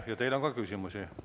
Ja teile on ka küsimusi.